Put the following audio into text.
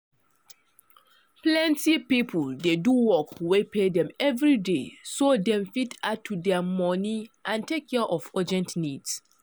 plenty people dey do work wey pay dem every day so dem fit add to their money and take care of urgent needs.